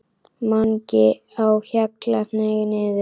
MANGI Á HJALLA, hneig niður.